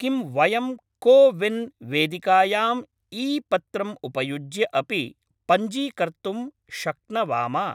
किं वयं कोविन् वेदिकायाम् ईपत्रं उपयुज्य अपि पञ्जीकर्तुं शक्नवाम?